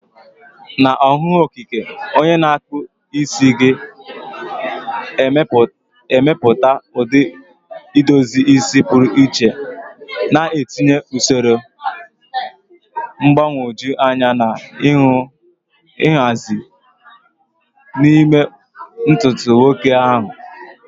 Na ọhụụ okike, onye na-akpụ isi ga-emepụta ụdị edozi isi pụrụ iche, na-etinye usoro mgbagwoju anya na nhazi n'ime ntutu nwoke ahụ.